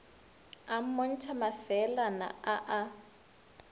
a mmontšha mafeelana a a